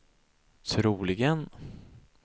troligen